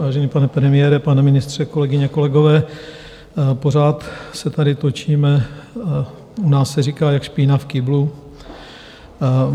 Vážený pane premiére, pane ministře, kolegyně, kolegové, pořád se tady točíme, u nás se říká jak špína v kýblu.